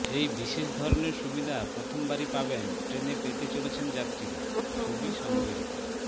এই বিশেষ ধরনের সুবিধা প্রথমবারই পাবেন ট্রেনে পেতে চলেছেন যাত্রীরা ছবি সংগৃহীত